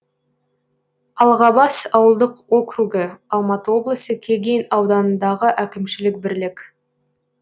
алғабас ауылдық округі алматы облысы кеген ауданындағы әкімшілік бірлік